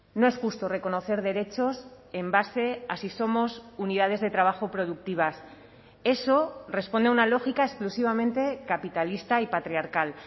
no es justo reconocer derechos en base a si somos unidades de trabajo productivas eso responde a una lógica exclusivamente capitalista y patriarcal